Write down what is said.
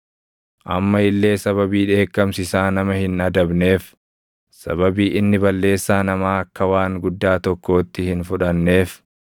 Amma illee sababii dheekkamsi isaa nama hin adabneef, sababii inni balleessaa namaa akka waan guddaa tokkootti hin fudhanneef,